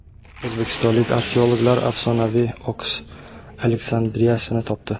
O‘zbekistonlik arxeologlar afsonaviy Oks Aleksandriyasini topdi.